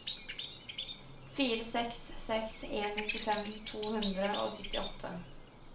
fire seks seks en nittifem to hundre og syttiåtte